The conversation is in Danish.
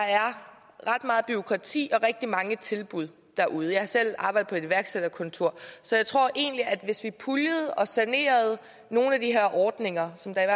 ret meget bureaukrati og rigtig mange tilbud derude jeg har selv arbejdet på et iværksætterkontor så jeg tror egentlig at hvis vi puljede og sanerede nogle af de her ordninger som der